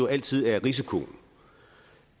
altid er risikoen